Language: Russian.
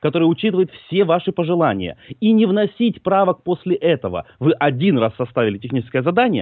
который учитывает все ваши пожелания и не вносить правок после этого вы один раз оставили техническое задание